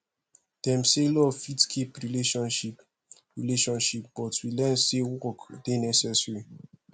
dem say love fit keep relationship relationship but we learn sey work dey necessary